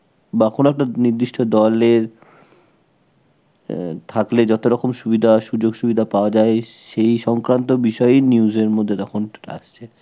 বা কোন একটা নির্দিষ্ট দলের এ থাকলে যতরকম সুবিধা, সুযোগ-সুবিধা পাওয়া যায়, সেই সংক্রান্ত বিষয় news এর মধ্যে তখন আসছে.